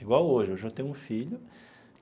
Igual hoje, hoje eu tenho um filho.